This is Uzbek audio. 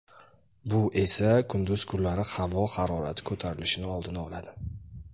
bu esa kunduz kunlari havo harorati ko‘tarilishini oldini oladi.